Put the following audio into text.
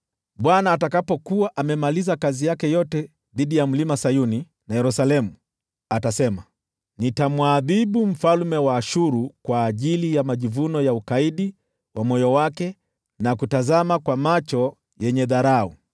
Bwana atakapokuwa amemaliza kazi yake yote dhidi ya Mlima Sayuni na Yerusalemu, atasema, “Nitamwadhibu mfalme wa Ashuru kwa ajili ya majivuno ya ukaidi wa moyo wake na kutazama kwa macho yenye dharau.”